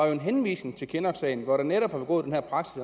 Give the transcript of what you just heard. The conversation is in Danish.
jo en henvisning til kinnocksagen hvor der netop